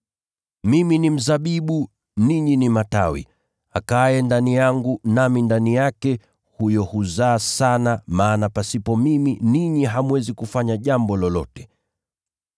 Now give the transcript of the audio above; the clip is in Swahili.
“Mimi ni mzabibu, ninyi ni matawi. Akaaye ndani yangu, nami ndani yake, huyo huzaa sana, maana pasipo mimi ninyi hamwezi kufanya jambo lolote.